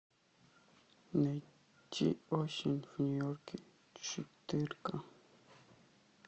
найти осень в нью йорке четырка